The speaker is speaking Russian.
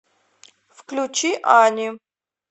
включи ани